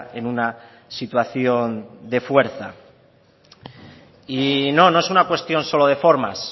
en una situación de fuerza y no no es una cuestión solo de formas